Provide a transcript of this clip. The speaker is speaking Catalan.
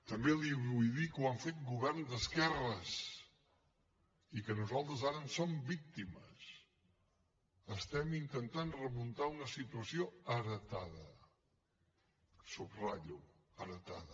també li vull dir que ho han fet governs d’esquerres i que nosaltres ara en som víctimes estem intentant remuntar una situació heretada ho subratllo heretada